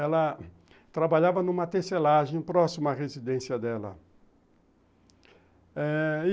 Ela trabalhava numa tecelagem próximo à residência dela eh